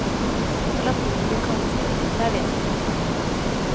Også latinamerikanske diktere er vesentlige for meg.